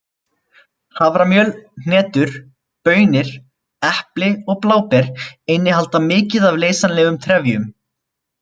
Haframjöl, hnetur, baunir, epli og bláber innihalda mikið af leysanlegum trefjum.